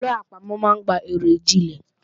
Àwọn àlọ àpamò máa ń gba ìròjinlẹ̀